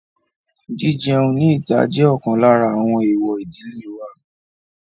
Jí-jẹun ní ìta jẹ́ ọ̀kan lára àwọn èwọ̀ ìdílé wa.